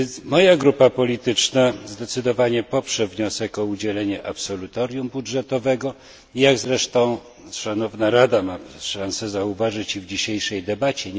Moja grupa polityczna zdecydowanie zatem poprze wniosek o udzielenie absolutorium budżetowego, jak zresztą szanowna Rada ma szansę zauważyć w dzisiejszej debacie.